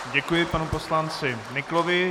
Děkuji panu poslanci Nyklovi.